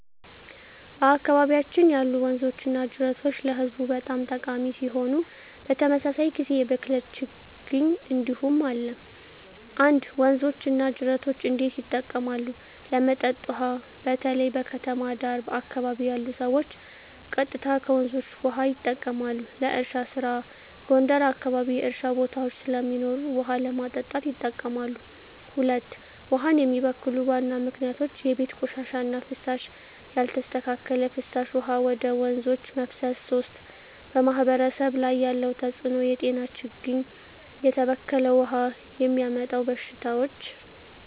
በአካባቢያችን ያሉ ወንዞችና ጅረቶች ለህዝቡ በጣም ጠቃሚ ሲሆኑ፣ በተመሳሳይ ጊዜ የብክለት ችግኝ እንዲሁም አለ። 1. ወንዞች እና ጅረቶች እንዴት ይጠቀማሉ? ለመጠጥ ውሃ: በተለይ በከተማ ዳር አካባቢ ያሉ ሰዎች ቀጥታ ከወንዞች ውሃ ይጠቀማሉ። ለእርሻ ስራ: ጎንደር አካባቢ የእርሻ ቦታዎች ስለሚኖሩ ውሃ ለማጠጣት ይጠቀማሉ። 2. ውሃን የሚበክሉ ዋና ምክንያቶች የቤት ቆሻሻ እና ፍሳሽ: ያልተስተካከለ ፍሳሽ ወደ ወንዞች መፍሰስ 3. በማህበረሰብ ላይ ያለው ተጽዕኖ የጤና ችግኝ: የተበከለ ውሃ የሚያመጣው በሽታዎች